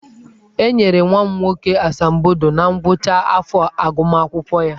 E nyere nwa m nwoke asambodo na ngwụcha afọ agụmakwụkwọ ya.